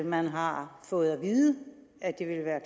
man har fået at vide at det vil være